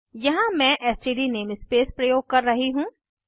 यहाँ मैं STD namespace प्रयोग कर रही हूँ